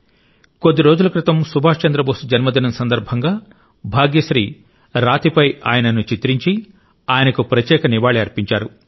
కొద్ది రోజుల క్రితం సుభాష్ చంద్ర బోసు జన్మదినం సందర్భంగా భాగ్యశ్రీ రాతిపై ఆయనను చిత్రించి ఆయనకు ప్రత్యేక నివాళి అర్పించారు